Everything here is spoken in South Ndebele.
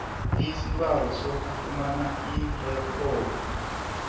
isibawo sokufumana irikhodi